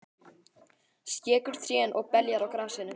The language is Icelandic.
Skekur trén og beljar á grasinu.